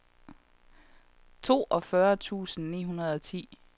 toogfyrre tusind ni hundrede og ti